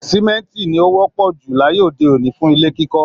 Símẹ́ńtì ni ó wọ́pọ̀ jù láyé òde òní fún ilé kíkọ́